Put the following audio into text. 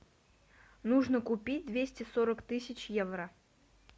нужно купить двести сорок тысяч евро